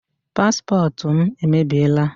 Paspọtụ m emebiela.